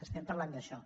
estem parlant d’això